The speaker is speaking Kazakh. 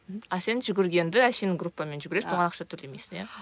ал сен жүгіргенді әшейін группамен жүгіресің оған ақша төлемейсің иә